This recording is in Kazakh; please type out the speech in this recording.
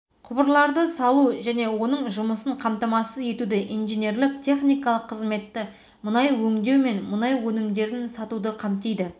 құбырларды салу және оның жұмысын қамтамасыз етуді инженерлік-техникалық қызметті мұнай өңдеу мен мұнай өнімдерін сатуды қамтиды